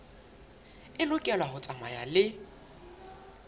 e lokela ho tsamaya le